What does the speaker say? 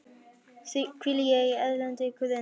hvíli ég í þér á erlendri grund.